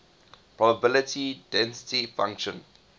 probability density function